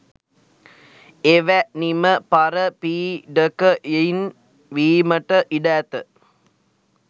එවැනිම පරපීඩකයින් වීමට ඉඩ ඇත.